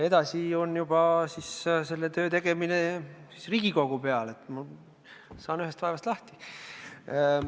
Edasi on selle töö tegemine juba Riigikogu õlul, ma saan ühest vaevast lahti.